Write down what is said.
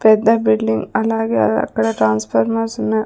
పెద్ద బిల్డింగ్ అలాగే ఆ అక్కడ ట్రాన్స్ఫార్మర్స్ ఉన్నాయ్.